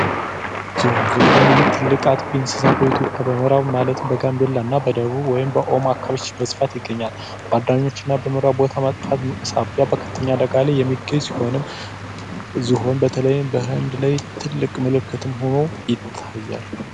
ዝሆን፡ ዝሆን ይህ ትልቅ አጥፊ እንስሳ በኢትዮጵያ ማለትም በጋምቤላና በደቡብ ወይም ኦሞ አካባቢዎች በስፋት ይገኛል። በመኖሪያው ቦታ መጥፋት ሳቢያ በከፍተኛ አደጋ ላይ የሚገኝ ሲሆንም ዝሆን በተለይም በህንድ ላይ ትልቅ ምልክት ሆኖ ይታያል።